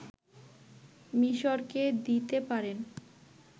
মিশরকে দিতে পারেন